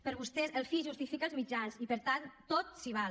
per vostès el fi justifica els mitjans i per tant tot s’hi val